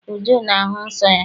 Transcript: Uju na-ahụ nsọ ya.